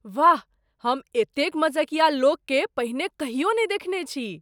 वाह! हम एतेक मजकिया लोककेँ पहिने कहियो नहि देखने छी।